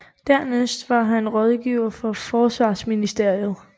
Dernæst var han rådgiver for forsvarsministeriet